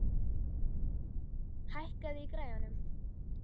Freylaug, hækkaðu í græjunum.